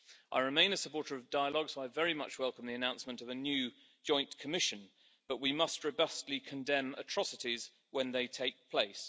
I remain a supporter of dialogue, so I very much welcome the announcement of a new joint commission, but we must robustly condemn atrocities when they take place.